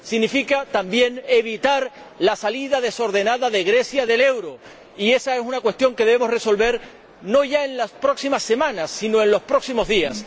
Significa también evitar la salida desordenada de Grecia del euro, y esa es una cuestión que debemos resolver, no ya en las próximas semanas, sino en los próximos días.